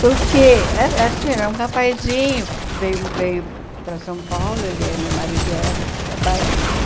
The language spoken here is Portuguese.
Porque era era assim era um rapazinho que veio veio para São Paulo, ele é meu marido era da Bahia, né?